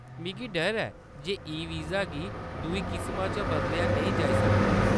मिगी डर ऐ जे ई-वीज़ा गी दूई किसमा च बदलेआ नेईं जाई सकदा ऐ।